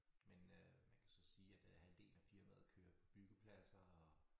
Men øh man kan så sige at øh halvdelen af firmaet kører på byggepladser og